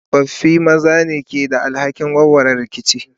tsofaffi maza ne ke da alhakin warware rikici.